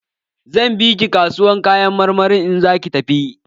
Zan bi ki kasuwar Kayan marmari in za ki tafi.